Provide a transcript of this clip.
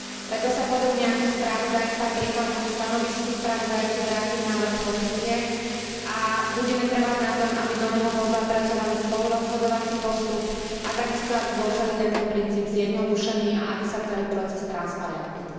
Preto sa podobne ako spravodajca prikláňam k stanovisku spravodajcu vrátiť návrh Komisie a budeme trvať na tom, aby do neho bol zapracovaný spolurozhodovací postup, a takisto aby bol celý tento princíp zjednodušený a aby bol celý proces transparentnejší.